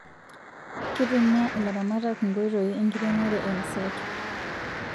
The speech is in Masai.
Kitumia ilaramatak Nkoitoii enkiremore e mseto